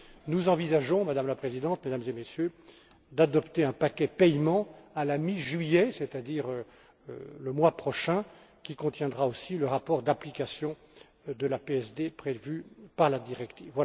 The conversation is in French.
Nous envisageons, Madame la Présidente, Mesdames et Messieurs, d'adopter un paquet paiements à la mi juillet, c'est à dire le mois prochain, qui contiendra aussi le rapport d'application de la PSD, prévu par la directive.